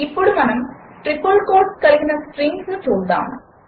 ఇప్పుడు మనము triple quotes కలిగిన స్ట్రింగ్స్ను చూద్దాము